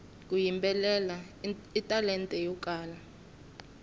ku yimbelela i talenta yo kala